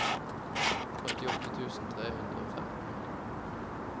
førtiåtte tusen tre hundre og femten